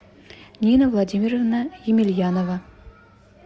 нина владимировна емельянова